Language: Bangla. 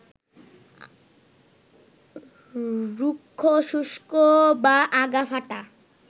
রুক্ষ, শুষ্ক বা আগা ফাঁটা